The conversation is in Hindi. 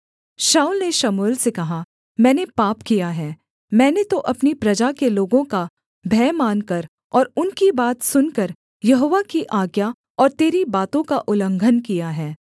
शाऊल ने शमूएल से कहा मैंने पाप किया है मैंने तो अपनी प्रजा के लोगों का भय मानकर और उनकी बात सुनकर यहोवा की आज्ञा और तेरी बातों का उल्लंघन किया है